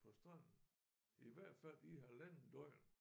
På stranden i hvert fald i halvandet døgn